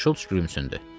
Şults gülümsündü.